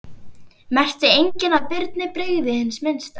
Merkti enginn að Birni brygði hið minnsta.